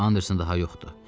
Anderson daha yoxdu.